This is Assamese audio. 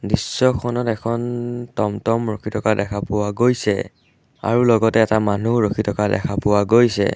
দৃশ্যখনত এখন তমতম ৰখি থকা দেখা পোৱা গৈছে আৰু লগতে এটা মানুহো ৰখি থকা দেখা পোৱা গৈছে।